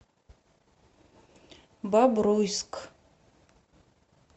бобруйск